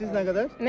Siz nə qədər?